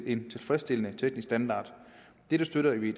en tilfredsstillende teknisk standard dette støtter vi i